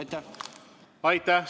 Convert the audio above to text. Aitäh!